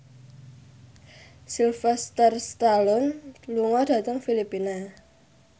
Sylvester Stallone lunga dhateng Filipina